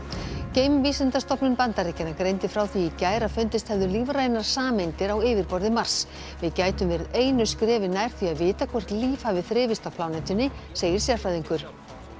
geimvísindastofnun Bandaríkjanna greindi frá því í gær að fundist hefðu lífrænar sameindir á yfirborði Mars við gætum verið einu skrefi nær því að vita hvort líf hafi þrifist á plánetunni segir sérfræðingur